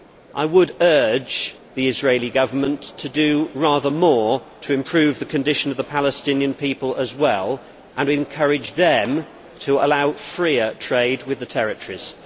I would urge the Israeli Government to do rather more to improve the condition of the Palestinian people as well, and encourage them to allow freer trade with the territories.